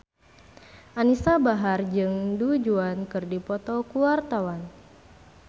Anisa Bahar jeung Du Juan keur dipoto ku wartawan